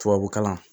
Tubabukalan